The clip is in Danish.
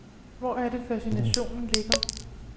Hvor er det fascinationen ligger.